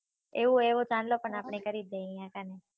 એવું એવું ચાંદલો પણ આપળે કરી દિયે અયા કાણે